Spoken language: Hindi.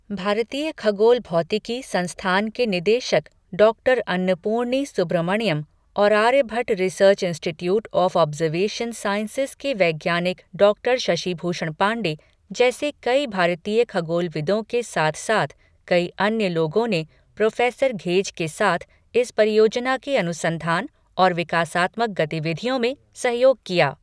भारतीय खगोल भौतिकी संस्थान की निदेशक डॉक्टर अन्नपूर्णी सुब्रमण्यम और Aryabhatta research institute of observation sciences के वैज्ञानिक डॉक्टर शशिभूषण पांडे, जैसे कई भारतीय खगोलविदों के साथ साथ कई अन्य लोगों ने प्रोफेसर घेज के साथ इस परियोजना के अनुसंधान और विकासात्मक गतिविधियों में सहयोग किया।